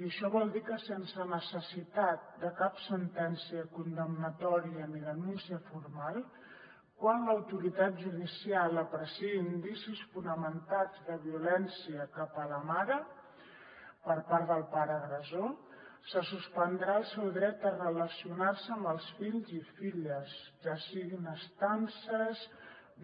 i això vol dir que sense necessitat de cap sentència condemnatòria ni denúncia formal quan l’autoritat judicial apreciï indicis fonamentats de violència cap a la mare per part del pare agressor se suspendrà el seu dret a relacionar se amb els fills i filles ja siguin estances